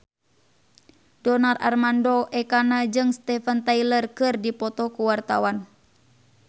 Donar Armando Ekana jeung Steven Tyler keur dipoto ku wartawan